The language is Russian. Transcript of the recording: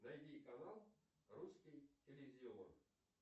найди канал русский иллюзион